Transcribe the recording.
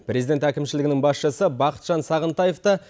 президент әкімшілігінің басшысы бақытжан сағынтаев та